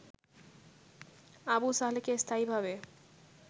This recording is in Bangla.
আবু সালেহকে স্থায়ীভাবে